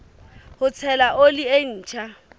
ho tshela oli e ntjha